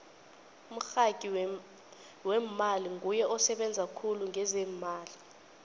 umragi wemmali nguye osebenza khulu ngezeemali